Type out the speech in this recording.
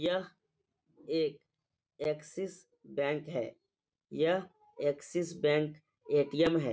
यह एक Axis bank है यह एक्सिस बैंक ए.टी.एम है |